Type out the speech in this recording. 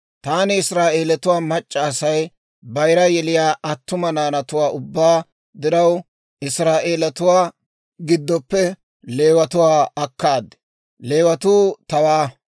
«Taani Israa'eelatuwaa mac'c'a Asay bayira yeliyaa attuma naanatuwaa ubbaa diraw Israa'eelatuwaa giddoppe Leewatuwaa akkaad. Leewatuu tawaa;